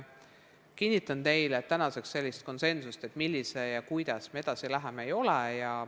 Kinnitan teile, et tänaseks sellist konsensust, kuidas me edasi läheme, veel ei ole.